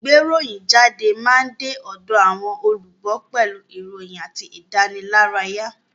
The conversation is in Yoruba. Ìgbéròyìnjáde máa ń de ọ̀dọ̀ àwọn olùgbọ́ pẹ̀lú ìròyìn àti ìdánilárayá